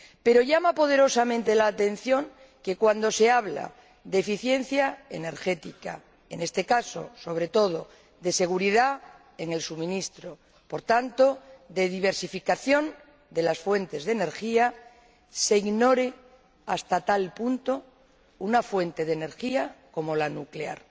Pero llama poderosamente la atención que —cuando se habla de eficiencia energética, en este caso, sobre todo, de seguridad en el suministro, por tanto, de diversificación de las fuentes de energía— se ignore hasta tal punto una fuente de energía como la nuclear.